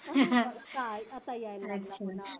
काय कसा यायला लागला तुला